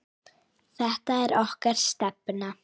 Þetta er okkar stefna.